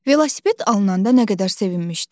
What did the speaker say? Velosiped alınanda nə qədər sevinmişdim.